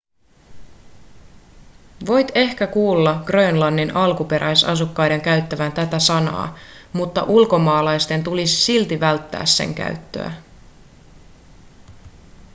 voit ehkä kuulla grönlannin alkuperäisasukkaiden käyttävän tätä sanaa mutta ulkomaalaisten tulisi silti välttää sen käyttöä